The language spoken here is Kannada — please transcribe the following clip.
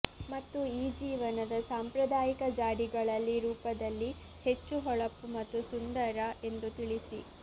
ಮತ್ತು ಈ ಜೀವನದ ಸಾಂಪ್ರದಾಯಿಕ ಜಾಡಿಗಳಲ್ಲಿ ರೂಪದಲ್ಲಿ ಹೆಚ್ಚು ಹೊಳಪು ಮತ್ತು ಸುಂದರ ಎಂದು ತಿಳಿಸಿ